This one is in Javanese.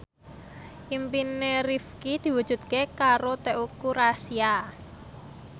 impine Rifqi diwujudke karo Teuku Rassya